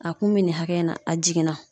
A kun bɛ nin hakɛ in na a jiginna.